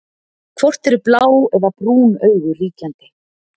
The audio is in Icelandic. Hvort eru blá eða brún augu ríkjandi?